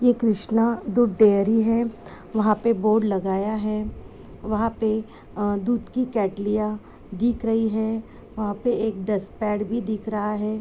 ये कृष्णा दूध डैरी है। वहाँ पे बोर्ड लागाया है। वहाँ पे दूध कि केतलियाँ दिख रही है। एक डस्टपॅड भी दिख रहा है।